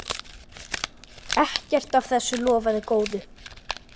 Ekkert af þessu lofaði góðu.